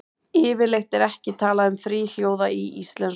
Yfirleitt er ekki talað um þríhljóða í íslensku.